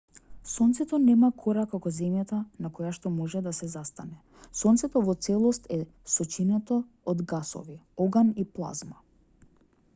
сонцето нема кора како земјата на којашто може да се застане сонцето во целост е сочинето од гасови оган и плазма